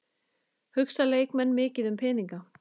Hugsa leikmenn mikið um peninga?